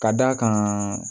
Ka d'a kan